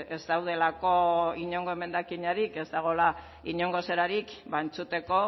ez daudelako inongo emendakinik ez dagoela inongo zelarik ba entzuteko